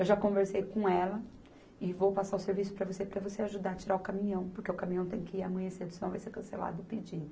Eu já conversei com ela e vou passar o serviço para você, para você ajudar a tirar o caminhão, porque o caminhão tem que ir amanhã cedo, senão vai ser cancelado o pedido.